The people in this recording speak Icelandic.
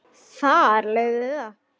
Þar lögðum við að.